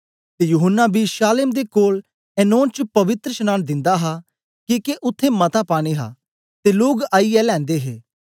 ते यूहन्ना बी शालेम दे कोल एनोन च पवित्रशनांन दिंदा हा किके उत्थें मता पानी हा ते लोग आईयै लैंदे हे